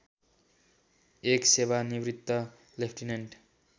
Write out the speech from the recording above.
एक सेवानिवृत्त लेफ्टिनेन्ट